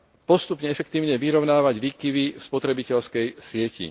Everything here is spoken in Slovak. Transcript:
postupne efektívne vyrovnávať výkyvy spotrebiteľskej siete.